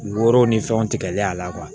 Woro ni fɛnw tigɛlen a la